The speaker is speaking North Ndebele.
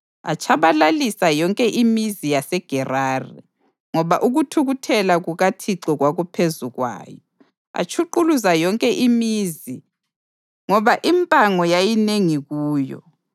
Atshabalalisa yonke imizi yaseGerari, ngoba ukuthukuthela kukaThixo kwakuphezu kwayo. Atshuquluza yonke imizi ngoba impango yayinengi kuyo.